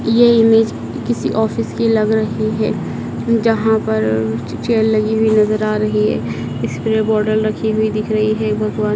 ये इमेज किसी ऑफिस की लग रही है जहां पर चेयर लगी हुई नजर आ रही है स्प्रे बॉटल रखी हुई दिख रही है भगवान--